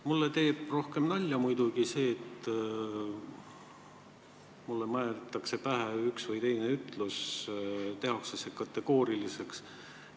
Mulle teeb päris nalja, et mulle määritakse pähe üks või teine ütlus ja tehakse see siis lausa kategooriliseks.